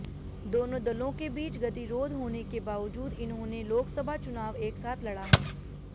दोनों दलों के बीच गतिरोध होने के बावजूद इन्होंने लोकसभा चुनाव एकसाथ लड़ा है